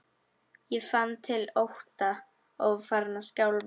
Ég fann til ótta og var farin að skjálfa.